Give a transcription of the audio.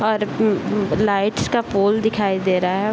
और अअ लाइट्स का पोल दिखाई दे रहा है।